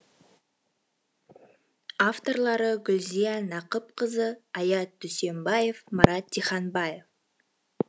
авторлары гүлзия нақыпқызы аят дүсембаев марат диханбаев